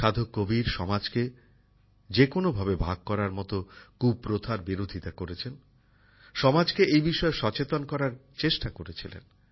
সাধক কবীর সমাজকে যেকোনোভাবে ভাগ করার মত কুপ্রথার বিরোধিতা করেছেন সমাজকে এই বিষয়ে সচেতন করার চেষ্টা করেছিলেন